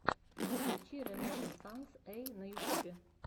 включи рэнэзсанс эй на ютубе